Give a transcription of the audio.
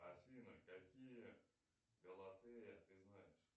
афина какие галатея ты знаешь